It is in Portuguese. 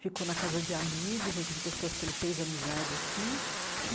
Ficou na casa de amigos aqui, de pessoas que ele fez amizade aqui.